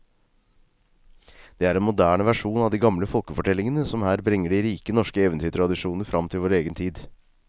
Det er en moderne versjon av de gamle folkefortellingene som her bringer de rike norske eventyrtradisjoner fram til vår egen tid.